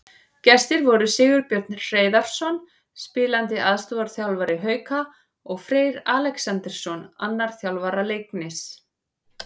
Gestir voru Sigurbjörn Hreiðarsson, spilandi aðstoðarþjálfari Hauka, og Freyr Alexandersson, annar þjálfara Leiknis.